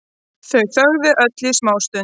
Þau þögðu öll í smástund.